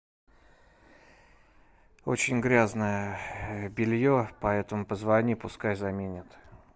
очень грязное белье поэтому позвони пускай заменят